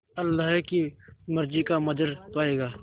अल्लाह की मर्ज़ी का मंज़र पायेगा